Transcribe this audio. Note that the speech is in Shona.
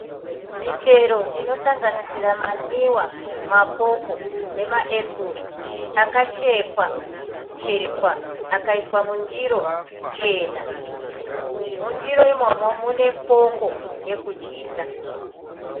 Michero inosanganisira manwiwa, mapopo nemaepuru akachekwa-chekwa akaiswa mundiro chena. Mundiro imomo munefoko yekudyisa.